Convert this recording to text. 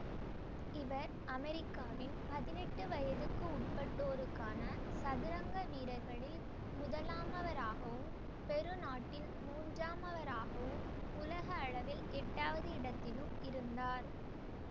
இவர் அமெரிக்காவின் பதினெட்டு வயதுக்கு உட்பட்டோருக்கான சதுரங்க வீரர்களில் முதலாமவராகவும் பெரு நாட்டில் மூன்றாமவராகவும் உலக அளவில் எட்டு வது இடத்திலும் இருந்தார்